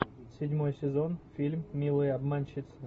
седьмой сезон фильм милые обманщицы